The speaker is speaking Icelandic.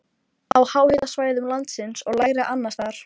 Frá hjarnjöklum ganga venjulega miklar jökultungur sem nefnast skriðjöklar.